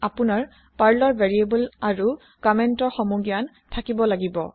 আপোনাৰ পাৰ্লৰ ভেৰিয়েবল আৰু কমেন্তৰ সমু জ্ঞান থাকিব লাগিব